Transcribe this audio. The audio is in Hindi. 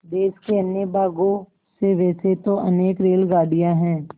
देश के अन्य भागों से वैसे तो अनेक रेलगाड़ियाँ हैं